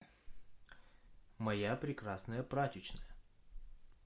моя прекрасная прачечная